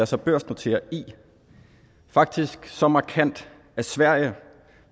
sig børsnotere i faktisk er så markant at sverige